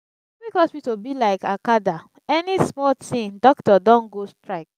public hospital be lyk acada any smal tin dokitor don go strike